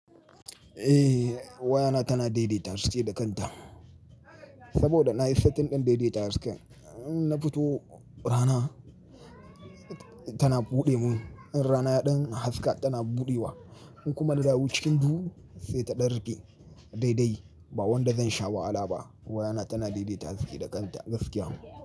Eh wayana tana daidaita haske da kanta saboda nayi setting ɗin daidaita haske. In na fito rana tana buɗe mun, in rana ya ɗan haska tana buɗe wa, in kuma na dawo cikin duhu sai ta ɗan rige. Daidai ba wanda zan sha wahala ba wayana tana daidaita haske da kanta gaskiya.